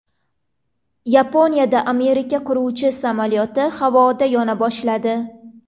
Yaponiyada Amerika qiruvchi samolyoti havoda yona boshladi.